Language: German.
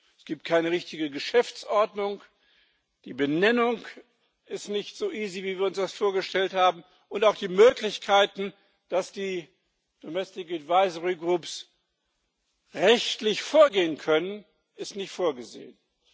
Es gibt keine richtige Geschäftsordnung, die Benennung ist nicht so einfach, wie wir uns das vorgestellt haben, und auch die Möglichkeit, dass die domestic advisory groups rechtlich vorgehen können, ist nicht vorgesehen.